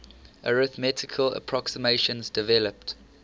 arithmetical approximations developed